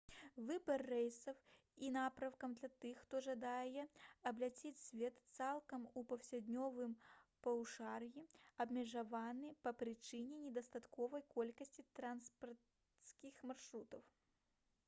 выбар рэйсаў і напрамкаў для тых хто жадае абляцець свет цалкам у паўднёвым паўшар'і абмежаваны па прычыне недастатковай колькасці трансакіянскіх маршрутаў